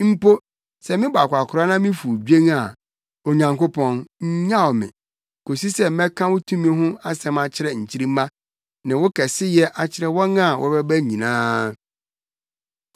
Mpo sɛ mebɔ akwakoraa na mifuw dwen a, Onyankopɔn, nnyaw me, kosi sɛ mɛka wo tumi ho asɛm akyerɛ nkyirimma, ne wo kɛseyɛ akyerɛ wɔn a wɔbɛba nyinaa.